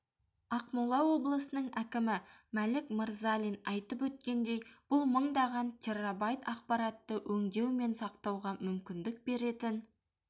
ақмола облысының әкімі мәлік мырзалин айтып өткендей бұл мыңдаған террабайт ақпаратты өңдеу мен сақтауға мүмкіндік беретін